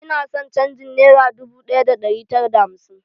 Ina son canjin nera dubu ɗaya da ɗari tara da hamsin